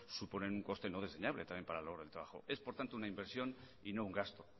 suponen un coste no desdeñable también para el trabajo es por tanto una inversión y no un gasto